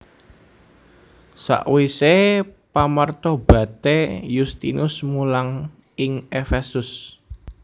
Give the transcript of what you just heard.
Sakwisé pamartobaté Yustinus mulang ing Efesus